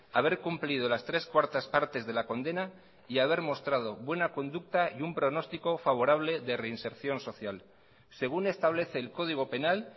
haber cumplido las tres cuartas partes de la condena y haber mostrado buena conducta y un pronóstico favorable de reinserción social según establece el código penal